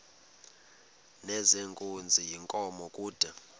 nezenkunzi yenkomo kude